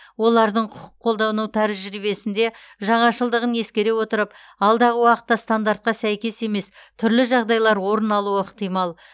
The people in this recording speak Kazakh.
олардың құқық қолдану тәжірибесінде жаңашылдығын ескере отырып алдағы уақытта стандартқа сәйкес емес түрлі жағдайлар орын алуы ықтимал